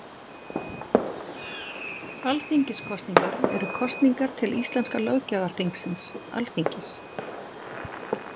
Alþingiskosningar eru kosningar til íslenska löggjafarþingsins, Alþingis.